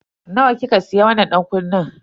Nawa kika siya wannan dankunnen?